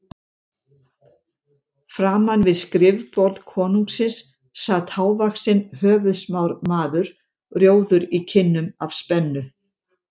Framan við skrifborð konungsins sat hávaxinn höfuðsmár maður, rjóður í kinnum af spennu.